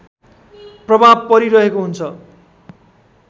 प्रभाव पारिरहेको हुन्छ